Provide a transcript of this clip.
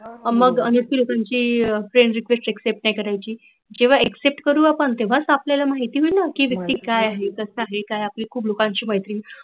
मग त्यांची friend request accept नाही करायची. जेव्हा accept करु आपण तेव्हाच आपल्याला माहीत होईल ना कि व्यक्ती कायआहे कस असा आहे काय